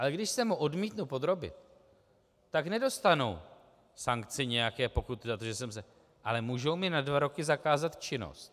Ale když se mu odmítnu podrobit, tak nedostanu sankci nějaké pokuty za to, že jsem se... ale můžou mi na dva roky zakázat činnost.